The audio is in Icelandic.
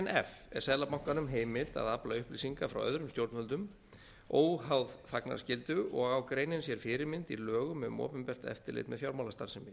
er seðlabankanum heimilt að afla upplýsinga frá öðrum stjórnvöldum óháð þagnarskyldu og á greinin sér fyrirmynd í lögum um opinbert eftirlit með fjármálastarfsemi